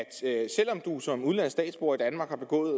selv om du som udenlandsk statsborger i danmark har begået